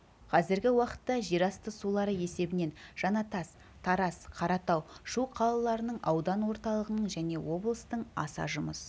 қазіргі уақытта жерасты сулары есебінен жанатас тараз каратау шу қалаларының аудан орталығының және облыстың аса жұмыс